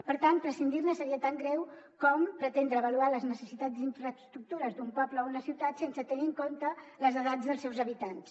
per tant prescindir ne seria tan greu com pretendre avaluar les necessitats d’infraestructures d’un poble o una ciutat sense tenir en compte les edats dels seus habitants